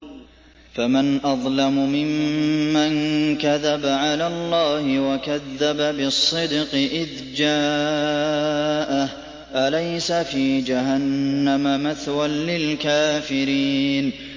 ۞ فَمَنْ أَظْلَمُ مِمَّن كَذَبَ عَلَى اللَّهِ وَكَذَّبَ بِالصِّدْقِ إِذْ جَاءَهُ ۚ أَلَيْسَ فِي جَهَنَّمَ مَثْوًى لِّلْكَافِرِينَ